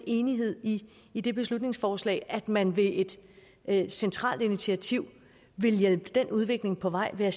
enig i i det beslutningsforslag altså at man ved et et centralt initiativ vil hjælpe den udvikling på vej ved at